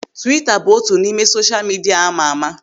Twiita bụ otu n'ime sosha midia amama.